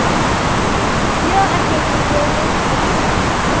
yo a kgethilwego go ba